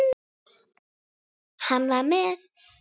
Hann var með